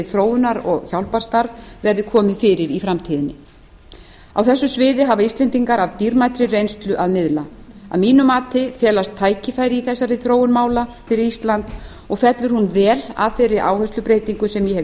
þróunar og hjálparstarf verði komið fyrir í framtíðinni á þessu sviði hafa íslendingar af dýrmætri reynslu að miðla að mínu mati felast tækifæri í þessari þróun mála fyrir ísland og fellur hún vel að þeirri áherslubreytingu sem ég hef